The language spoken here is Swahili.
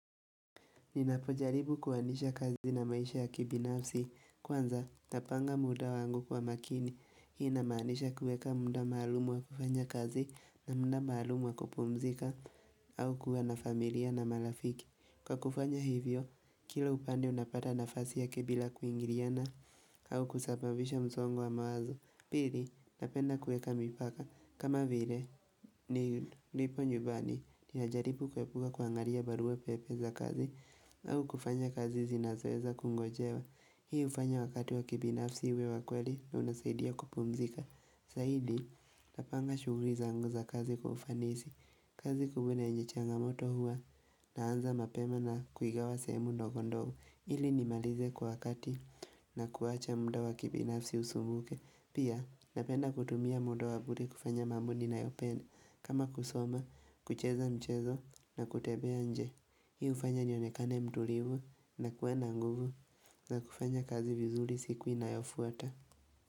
Ninapojaribu kuwanisha kazi na maisha ya kibinafsi. Kwanza, napanga muda wangu kwa makini. Hii namanisha kueka munda maalumu wa kufanya kazi na munda maalumu wa kupumzika au kuwa na familia na malafiki. Kwa kufanya hivyo, kila upande unapata nafasi yake bila kuingiliana au kusabavisha msongo wa mawazo. Pili, napenda kueka mipaka. Kama vile, nilipo nyumbani, nilijaripu kwepuga kuangaria barua pepe za kazi, au kufanya kazi zinazoweza kungojewa. Hii hufanya wakati wa kibinafsi uwe wakweli na unasaidia kupumzika. Saidi, napanga shughli zangu za kazi kwa ufanisi. Kazi kubwa na yenye changa moto hua, naanza mapema na kuigawa semu ndogondogo. Ili ni malize kwa wakati na kuwacha muda wa kibinafsi usumuke Pia napenda kutumia muda wabure kufanya mambo ninayopenda kama kusoma, kucheza mchezo na kutebea nje Hii hufanya nionekane mtulivu na kuwa nguvu na kufanya kazi vizuri siku inayofuata.